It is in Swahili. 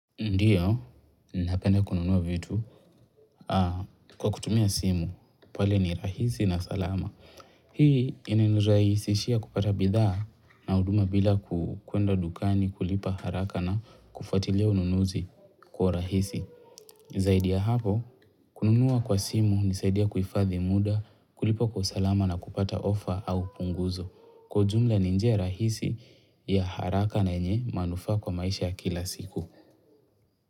Ndio, napenda kununua vitu kwa kutumia simu, pale ni rahisi na salama. Hii inanirahisishia kupata bidhaa na huduma bila kukuenda dukani, kulipa haraka na kufuatilia ununuzi kwa urahisi. Zaidi ya hapo, kununua kwa simu hunisaidia kuhifadhi muda, kulipa kwa usalama na kupata offer au punguzo. Kwa ujumla ni njia rahisi ya haraka na yenye manufaa kwa maisha ya kila siku.